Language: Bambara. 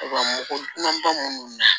U ka mɔgɔ man ba minnu na